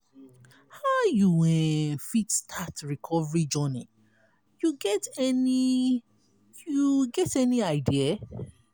how you um fit start recovery journey you get any you get any idea?